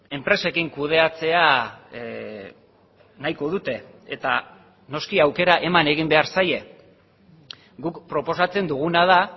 enpresekin kudeatzea nahiko dute eta noski aukera eman egin behar zaie guk proposatzen duguna da